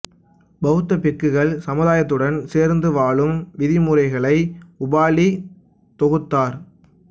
பௌத்த பிக்குகள் சமுதாயத்துடன் சேர்ந்து வாழும் விதிமுறைகளை உபாலி தொகுத்தார்